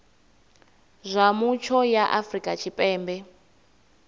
zwa mutsho ya afrika tshipembe